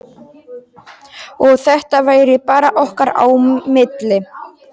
Og að þetta væri bara okkar á milli.